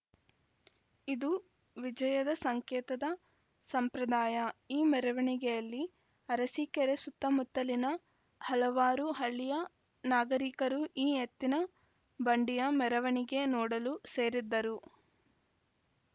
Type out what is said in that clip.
ಇದು ವಿಜಯದ ಸಂಕೇತದ ಸಂಪ್ರದಾಯ ಈ ಮೆರವಣಿಗೆಯಲ್ಲಿ ಅರಸಿಕೆರೆ ಸುತ್ತ ಮುತ್ತಲಿನ ಹಲವಾರು ಹಳ್ಳಿಯ ನಾಗರಿಕರು ಈ ಎತ್ತಿನ ಬಂಡಿಯ ಮೆರವಣಿಗೆ ನೋಡಲು ಸೇರಿದ್ದರು